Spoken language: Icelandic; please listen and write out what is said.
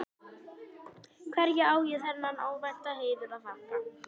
Að vera efstir í riðlinum, hvað geturðu beðið meira um?